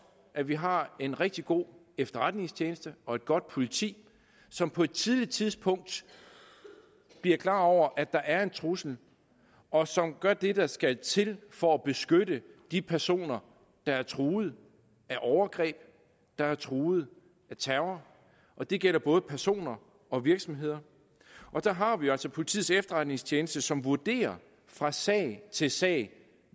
at vi har en rigtig god efterretningstjeneste og et godt politi som på et tidligt tidspunkt bliver klar over at der er en trussel og som gør det der skal til for at beskytte de personer der er truet af overgreb der er truet af terror og det gælder både personer og virksomheder der har vi jo altså politiets efterretningstjeneste som vurderer fra sag til sag